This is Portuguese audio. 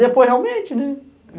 Depois, realmente, né?